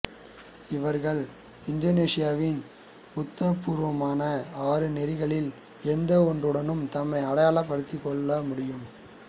இவர்கள் இந்தோனேசியாவின் உத்தியோகபூர்வமான ஆறு நெறிகளில் எந்த ஒன்றுடனும் தம்மை அடையாளப்படுத்திக் கொள்ளமுடியும்